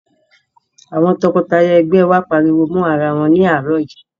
Àwọn tọkọtaya ẹ̀gbẹ́ wa pariwo mọ́rawọn ní àárọ̀ yìí.